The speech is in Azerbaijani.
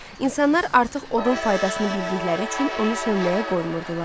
İnsanlar artıq odun faydasını bildikləri üçün onu sönməyə qoymurdular.